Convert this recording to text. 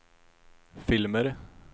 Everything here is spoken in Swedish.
filmer